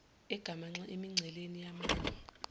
egamanxe emingceleni yamanye